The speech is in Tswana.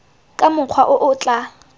ka mokgwa o o tla